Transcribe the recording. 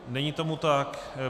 Není tomu tak.